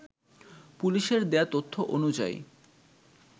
পুলিশের দেয়া তথ্য অনুযায়ী